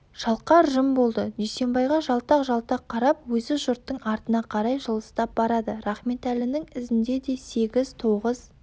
шалқар жым болды дүйсенбайға жалтақ-жалтақ қарап өзі жұрттың артына қарай жылыстап барады рахметәлінің ізінде де сегіз-тоғыз